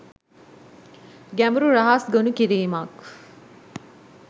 ගැඹුරු රහස් ගොනු කිරීමක්.